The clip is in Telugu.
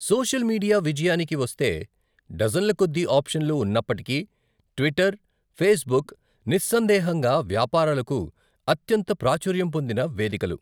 సోషల్ మీడియా విజయానికి వస్తే డజన్ల కొద్దీ ఆప్షన్లు ఉన్నప్పటికీ, ట్విట్టర్, ఫేస్బుక్ నిస్సందేహంగా వ్యాపారాలకు అత్యంత ప్రాచుర్యం పొందిన వేదికలు.